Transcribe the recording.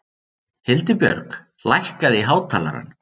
Hildibjörg, lækkaðu í hátalaranum.